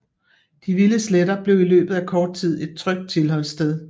De Vilde Sletter blev i løbet af kort tid et trygt tilflugtssted